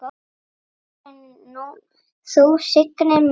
Áður en þú signdir mig.